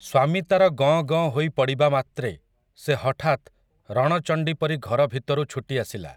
ସ୍ୱାମୀ ତା'ର ଗଁ ଗଁ ହୋଇ ପଡ଼ିବା ମାତ୍ରେ ସେ ହଠାତ୍ ରଣ ଚଣ୍ଡି ପରି ଘର ଭିତରୁ ଛୁଟି ଆସିଲା ।